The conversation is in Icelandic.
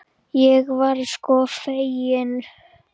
Ég var sko fegin!